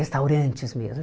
Restaurantes mesmo.